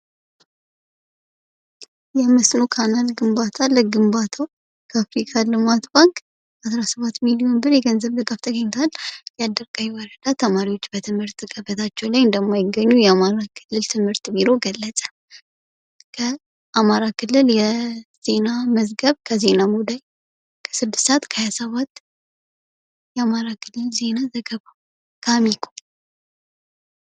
ይህ ምስል ካናል ግንባታ ለግንባታዉ ከአፍሪካ ልማት ባንክ አስራሰባት ሚሊዮን ብር የገንዘብ ድጋፍ ተገኝቱዋል ፤ የአዳርቀይ ወረዳ ተማሪዎች በትምህርት ገበታቸው ላይ እንደማይገኙ የአማራ ክልል ትምህርት ቢሮ ገለጸ ፤ ከአማራ ክልል የዜና መዝገብ ከዜናሙላይ ስድስት ሰአት ከሃያሰባት የአማራ ክልል ዘገባ ፤ ከአሚኮ።